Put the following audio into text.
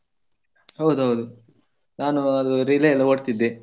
ಹೌದೌದು ನಾನು ಅದು relay ಎಲ್ಲ ಓಡ್ತಿದ್ದೆ.